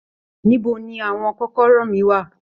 Níbo ní àwọn kọ́kọ́rọ́ mí wá?